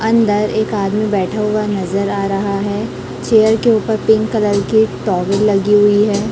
अंदर एक आदमी बैठा हुआ नजर आ रहा है चेयर के ऊपर पिंक कलर की एक टॉवेल लगी हुई है।